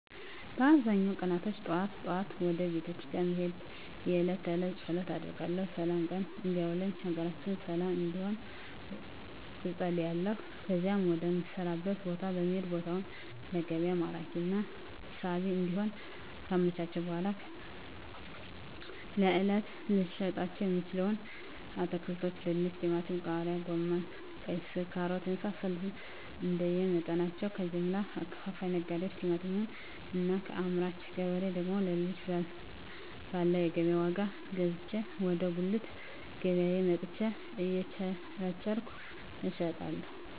በአብዛኛው ቀናቶች ጠዋት ጠዋት ወደ ቤተክርስቲያን በመሄድ የእለት ተእለት ፀሎት አደርጋለሁ ስላም ቀን እንዲያውለኝ ሀገራችንን ሰለም እንድትሆን እፀልያለሁ ከዚያም ወደ ምሰራበት ቦታ በመሄድ ቦታውን ለገቢያ ማራኪና ሳቢ እንዲሆን ካመቻቸሁ በኃላ ለእለት ልሸጣቸው የምችለዉን አትክልቶች ድንች ቲማቲም ቃሪያ ጎመን ቀይስር ካሮት የመሳሰሉትንእንደየ መጠናቸው ከጀምላ አከፋፋይ ነጋዴዎች ቲማቲሙን እና ከአምራች ገበሬ ደግሞ ሌሎችን ባለው የገቢያ ዋጋ ገዝቼ ወደ ጉልት ገቢያየ መጥቸ እየቸረቸርኩ እሸጣለሁ